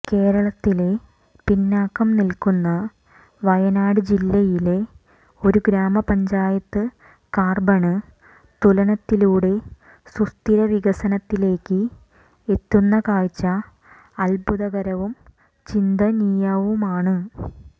കേരളത്തിലെ പിന്നാക്കം നില്ക്കുന്ന വയനാട് ജില്ലയിലെ ഒരു ഗ്രാമപഞ്ചായത്ത് കാര്ബണ് തുലനത്തിലൂടെ സുസ്ഥിര വികസനത്തിലേക്ക് എത്തുന്ന കാഴ്ച അദ്ഭുതകരവും ചിന്തനീയവുമാണ്